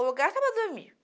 O lugar estava dormindo.